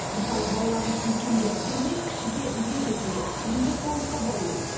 мысалы балаларын үлкенге құрмет кішіге ізет етуге еңбекқорлыққа баулиды